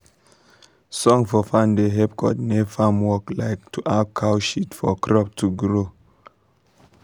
song for farm da help cordinate farm work like to add cow shit for crop to grow